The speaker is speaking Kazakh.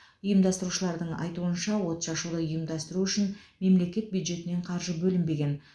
ұйымдастырушылардың айтуынша отшашуды ұйымдастыру үшін мемлекет бюджетінен қаржы бөлінбеген